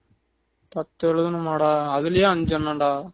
பத்து எழுதணுமாடா அதுலையே அஞ்சனம் டா